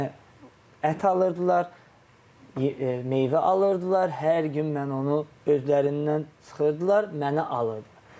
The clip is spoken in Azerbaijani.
Mənə ət alırdılar, meyvə alırdılar, hər gün mən onu özlərindən çıxırdılar, mənə alırdılar.